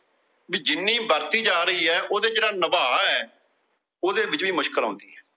ਜਿੰਨੀ ਵਰਤੀ ਜਾ ਰਹੀ ਏ। ਉਹਦਾ ਜਿਹੜਾ ਨਿਭਾ ਏ ਉਹਂਦੇ ਵਿੱਚ ਵੀ ਮੁਸ਼ਕਿਲ ਆਉਂਦੀ ਏ